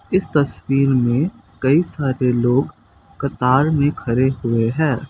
इस तस्वीर में कई सारे लोग कतार में खड़े हुए हैं।